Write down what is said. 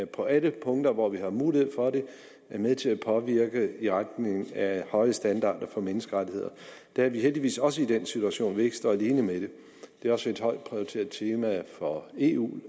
på alle punkter hvor vi har mulighed for det er med til at påvirke i retning af høje standarder for menneskerettigheder der er vi heldigvis også i den situation at vi ikke står alene med det det er også et højt prioriteret tema for eu